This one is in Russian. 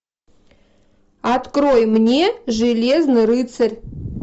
открой мне железный рыцарь